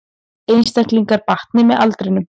Einstaklingar batni með aldrinum